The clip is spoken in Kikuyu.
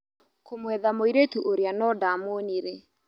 Kũmwetha mũirĩtu ũrĩa no ndamwonire.